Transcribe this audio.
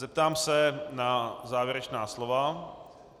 Zeptám se na závěrečná slova.